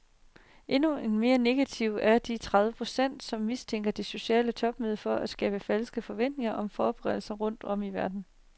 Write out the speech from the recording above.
Endnu mere negative er de tredive procent, som mistænker det sociale topmøde for at skabe falske forventninger om forbedringer rundt om i verden.